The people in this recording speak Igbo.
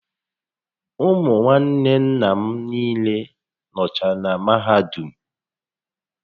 Ụmụ nwanne nna m niile nọcha na mahadum